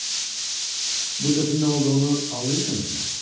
Bu sözün nə olduğunu anlayırsınızmı?